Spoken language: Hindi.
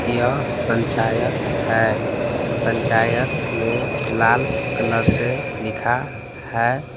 यह पंचायत है पंचायत में लाल कलर से लिखा है।